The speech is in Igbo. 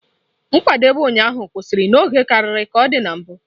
Nkwadebe ụnyaahụ kwụsịrị n'oge karịa ka ọ dị na mbụ.